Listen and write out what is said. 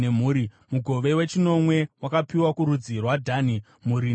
Mugove wechinomwe wakapiwa kurudzi rwaDhani, mhuri nemhuri.